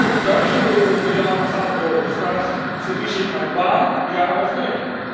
Voor duizenden Europeanen gaat het over de vraag Verlies ik mijn baan, ja of nee?.